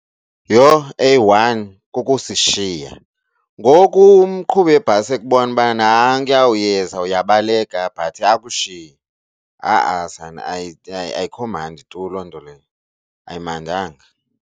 Yho, eyi-one kukusishiya. Ngoku umqhubi webhasi ekubona uba nankuyaa uyenza uyabaleka but akushiye. Ha-a sana ayikho mandi tu loo nto leyo, ayimandanga.